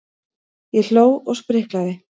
Ég hló og spriklaði.